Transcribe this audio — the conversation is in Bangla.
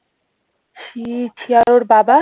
ছি ছি আর ওর বাবা?